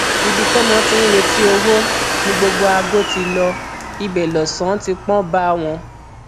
ibi tọmọ ti ń retí owó ni gbogbo aago ti lo ibẹ lọsànán ti pọn bá wọn